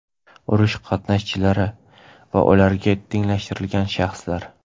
urush qatnashchilari va ularga tenglashtirilgan shaxslar;.